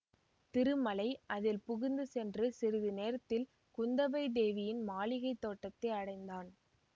திருமலை அதில் புகுந்து சென்று சிறிது நேரத்தில் குந்தவை தேவியின் மாளிகைத் தோட்டத்தை அடைந்தான்